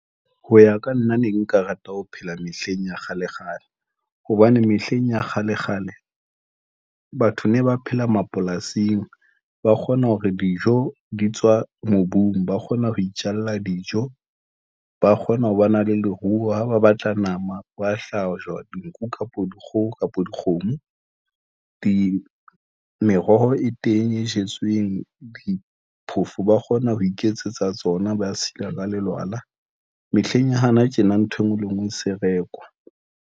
Ho ya ka nna ne nka rata ho phela mehleng ya kgalekgale, hobane mehleng ya kgalekgale batho ne ba phela mapolasing. Ba kgona hore dijo di tswa mobung, ba kgona ho itjalla dijo, ba kgona ho ba na le leruo ha ba batla nama, ba hlahlojwa dinku kapo dikgoho kapa dikgomo, di meroho e teng e jetsweng diphofo, ba kgona ho iketsetsa tsona. Ba sila ka lelwala mehleng ya hana tjena. Ntho enngwe le enngwe e se rekwa.